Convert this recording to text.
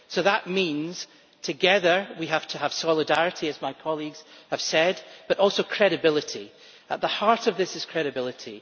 That means, together, we have to have solidarity, as my colleagues have said, but also credibility. At the heart of this is credibility.